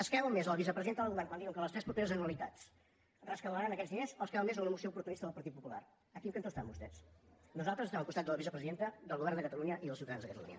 es creuen més la vicepresidenta del govern quan diu que en les tres properes anualitats rescabalaran aquests diners o es creuen més una moció oportunista del partit popular a quin cantó estan vostès nosaltres estem al costat de la vicepresidenta del govern de catalunya i dels ciutadans de catalunya